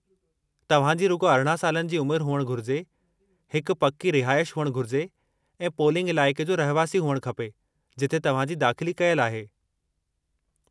तव्हांजी रुॻो अरिणां सालनि जी उमिरि हुअणु घुरिजे, हिकु पक्की रिहाइश हुअणु घुरिजे ऐं पोलिंग इलाइक़े जो रहिवासी हुअणु खपे जिथे तव्हांजी दाख़िली कयलु आहे।